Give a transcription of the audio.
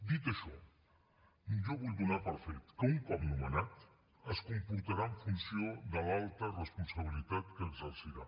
dit això jo vull donar per fet que un cop nomenat es comportarà en funció de l’alta responsabilitat que exercirà